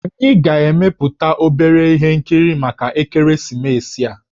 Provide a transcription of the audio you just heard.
Anyị ga-emepụta obere ihe nkiri maka ekeresimesi a